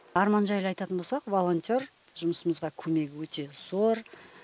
арман жайлы айтатын болсақ волонтер жұмысымызға көмегі өте зор